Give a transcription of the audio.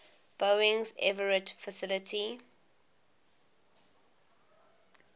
boeing's everett facility